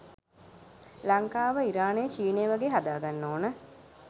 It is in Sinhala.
ලංකාව ඉරානය චීනය වගේ හදා ගන්න ඕන.